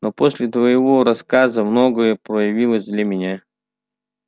но после твоего рассказа многое проявилось для меня